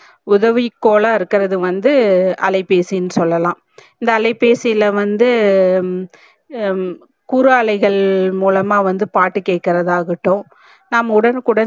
உதவி கோலா இருகர்த்து வந்து அலைபேசின்னு சொல்லலாம் இந்த அலைபேசில வந்து குறு அலைகள் மூலமா வந்து பாட்டு கேக்கறது ஆகட்டும்